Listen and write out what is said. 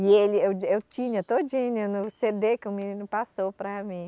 E ele, eu, eu tinha todinha no cê dê que o menino passou para mim.